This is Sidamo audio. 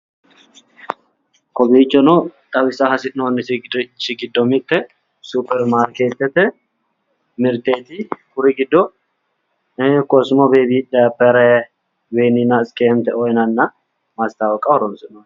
Kowiichono xawisa hasi'noonnirichi giddo mitte supperimaarkeettete mirteeti. Kuri giddo .......yinanna mastaawoqaho horoonsi'noonni.